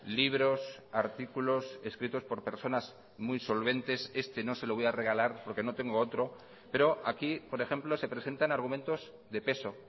libros artículos escritos por personas muy solventes este no se lo voy a regalar porque no tengo otro pero aquí por ejemplo se presentan argumentos de peso